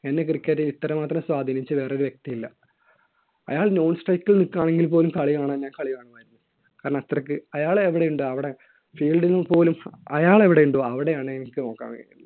എന്നെ cricket ൽ ഇത്രമാത്രം സ്വാധീനിച്ച വേറൊരു വ്യക്തിയില്ല. അയാൾ non strike ൽ നിൽക്കുകയാണെങ്കിൽ പോലും കളി കാണാൻ, ഞാൻ കളി കാണുമായിരുന്നു. കാരണം അത്രയ്ക്ക് അയാൾ എവിടെയുണ്ടോ അവിടെ fielding ൽ പോലും അയാൾ എവിടെയുണ്ടോ അവിടെയാണ് എനിക്ക് നോക്കാന്‍